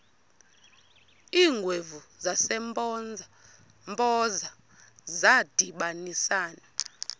iingwevu zasempoza zadibanisana